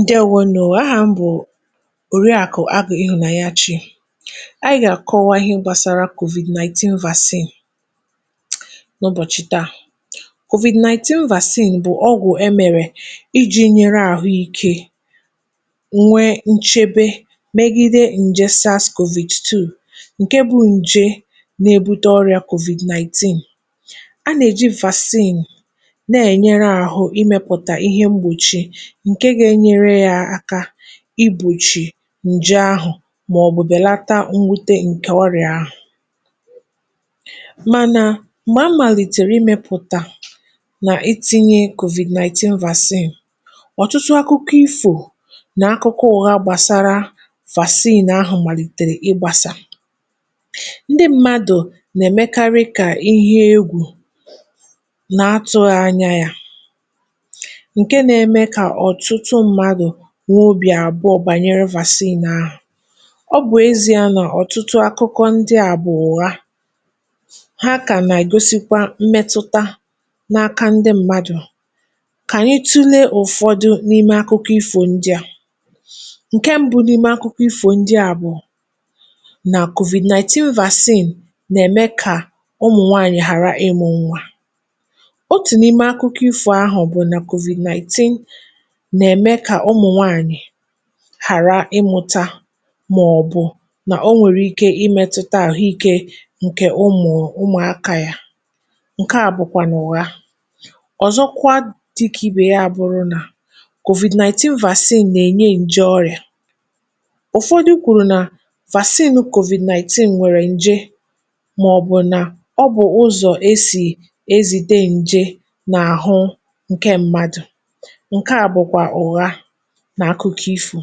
Ǹdeèwònù. Ahà mbụ̀ òrụ ya kù Àgì Ịhụ̇nànyà Chi. Ànyị gà-àkọwa ihe gbàsàrà COVID-nineteen Vaccine n’ụbọ̀chị̀ taa. COVID-nineteen Vaccine bụ̀ ọgwù e mèrè iji̇ nyere àhụike nwee nchebe megide Nchesis COVID-Two, ǹke bụ̇ ǹje n’ebute ọrịa COVID-nineteen. (um)A nà-èji vaccine na-ènyere àhụ imepùta ihe m̀gbòchi, ǹke ga-enyere yà aka ibùchì ǹjụ ahụ̀ màọbụ̀ bèlata mwute ǹkè ọrịà ahụ̀. Mànà, m̀gbà màlìtèrè imėpụ̀tà nà itinye COVID-nineteen vaccine, ọ̀tụtụ akụkọ ifò nà akụkọ ụghà gbàsàrà vaccine nà ahụ̀ màlìtèrè ịgbàsà. Ndị mmadụ̀ nà-èmekarị kà ihe egwù nà atụghị anya yà, nwubì àbụọ̇ bànyere vaccine nà ahụ̀.Ọ bụ̀ ezi̇a nà ọ̀tụtụ akụkọ ndị àbụọ̇wa ha kà nà-igosikwa mmetụta n’aka ndị mmadụ̀. Kà ànyị tụlee ụ̀fọdụ n’ime akụkọ ifò ndị à. (um)ǹke mbụ, n’ime akụkọ ifò ndị àbụọ̀, bụ̀ nà COVID-nineteen vaccine nà-ème kà ụmụ̀nwanyị̀ ghara ịmụ̇nwà. Otù n’ime akụkọ ifò ahụ̀ bụ̀ nà COVID-nineteen hàra ịmụ̇tȧ, màọ̀bụ̀ nà o nwèrè ike imėtụta àhụike ǹkè ụmụ̀ ụmụ̀akȧ yà. ǹke à bụ̀kwà n’ụ̀ha ọ̀zọkwa dị ikė, ibe ya bụ̇rụ̇ nà COVID-nineteen vaccine nà-ènye ǹje ọrị̀à. Ụ̀fọdụ kwùrù nà vaccine nù COVID-nineteen nwèrè ǹje, màọ̀bụ̀ nà ọbụ̀ ụzọ̀ ezì ezìde ǹje n’àhụ ǹke mmadụ̀.N’akụkọ ifụ̇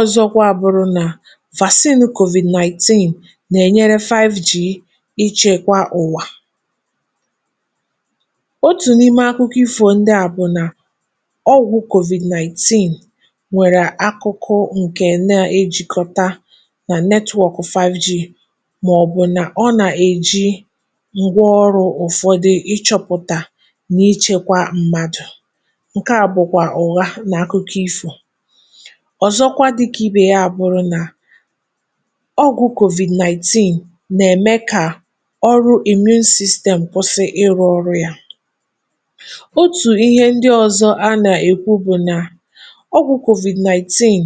ọ̀zọkwa, bụ̀rụ̀ nà vaccine COVID-nineteen nà-ènyere FiveG ichekwa ụ̀wà. um Otù n’ime akụkọ ifụ̇ ndị à bụ̀ nà ọgwụ̀ COVID-nineteen nwèrè akụkụ ǹkè na-ejikọta nà netwọ̀ ọ̀kụ̀ fiveG, màọbụ̀ nà ọ nà-èji ngwa ọrụ̇ ụ̀fọdụ ichėpụ̀tà nà ichekwa mmadụ̀.ǹke à bụ̀kwà ọ̀ga n’akụkụ ifụ̇ ọ̀zọkwa, dịkà ibè ya, bụ̀ nà ọgwụ̀ COVID-nineteen nà-ème kà ụ̀sọ̀rọ̀ èmien sistemụ̀ kwụsị ịrụ̇ ọrụ̇ ya. Otù ihe ndị ọ̀zọkwa a nà-èkwu bụ̀ nà ọgwụ̀ COVID-nineteen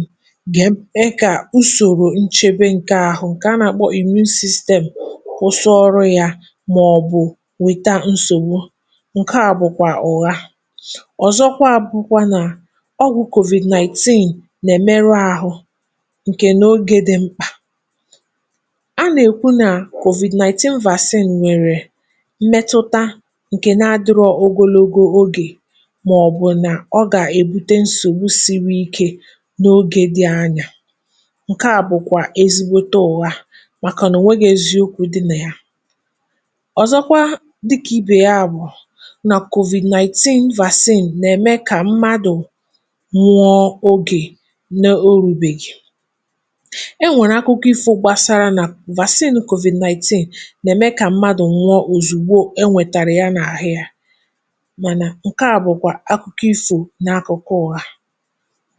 gà-eme kà usòrò nchebe ǹkè ahụ̀, ǹkè a nà-àkpọ Èmien Sistemụ̀, kwụsị ọrụ̇ ya, mà ọ̀ bụ̀ wìta nsògbò. ǹke à bụ̀kwà ọ̀ga, ọgwụ̀ COVID-nineteen nè merụ àhụ n’ogė dị̇ mkpà.A nà-ekwu nà COVID-nineteen vaccination nwèrè mmetụta ǹkẹ̀ nà-adịrọ ogologo ogè, màọbụ̀ nà ọ gà-èbute nsògbu siri ikė n’ogė dị anya. ǹke bụ̀kwà eziokwu̇ ụ̀wa, màkà nà ò nwėga eziokwu̇ dị nà ya. Ọ̀zọkwa, dịkà ibè ya, bụ̀ nà COVID-nineteen vaccination nè ème nwụọ ogè n’ọrụ. Ụ̀fọdụ akụkọ ifụ̇ gbasara nà COVID-nineteen nà-eme kà mmadụ̀ nwụọ òzùgbo enwètàrà ya n’àhụ ya, mànà ǹkẹ̀ a bụ̀kwà akụkọ ifụ̇, n’akụ̀kụ̀ ụ̀gà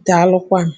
dàalụkwanụ.